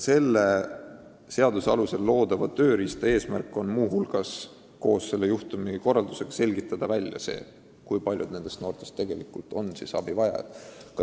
Selle seaduse alusel loodava tööriista eesmärk ongi muu hulgas välja selgitada, kui paljud nendest noortest on abivajajad.